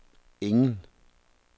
ingen